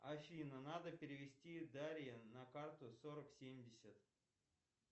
афина надо перевести дарье на карту сорок семьдесят